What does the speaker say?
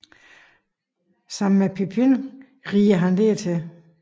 Sammen med Pippin rider han dertil